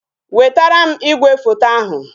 Wetara m igwefoto ahụ